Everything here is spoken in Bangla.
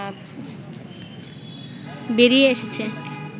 বেড়িয়ে এসেছে